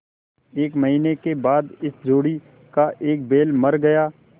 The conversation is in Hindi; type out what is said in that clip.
एक महीने के बाद इस जोड़ी का एक बैल मर गया